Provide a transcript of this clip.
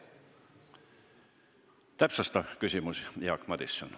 Täpsustav küsimus Jaak Madisonilt.